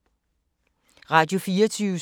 Radio24syv